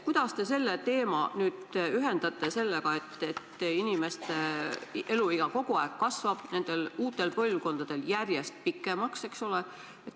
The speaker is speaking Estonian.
Kuidas te selle sammu ühendate tõsiasjaga, et inimeste keskmine eluiga uutel põlvkondadel järjest pikeneb?